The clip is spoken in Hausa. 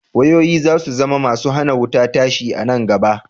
Wayoyi za su zama masu hana wuta tashi a nan gaba.